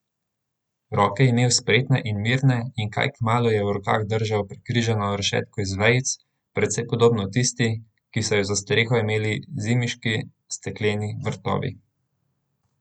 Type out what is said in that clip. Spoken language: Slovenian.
Roke je imel spretne in mirne in kaj kmalu je v rokah držal prekrižano rešetko iz vejic, precej podobno tisti, ki so jo za streho imeli zimiški stekleni vrtovi.